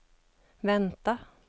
vänta